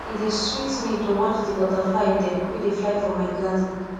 e dey sweet me to watch di butterfly dem wey dey fly for my garden